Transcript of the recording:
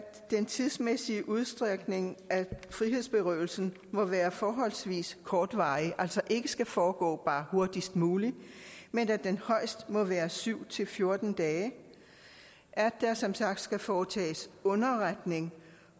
den tidsmæssige udstrækning af frihedsberøvelsen må være forholdsvis kortvarig at altså ikke skal foregå bare hurtigst muligt men at den højst må være syv fjorten dage at der som sagt skal foretages underretning